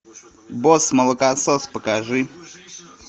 босс молокосос покажи